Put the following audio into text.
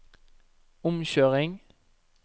omkjøring